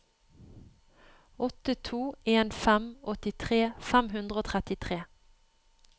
åtte to en fem åttitre fem hundre og trettitre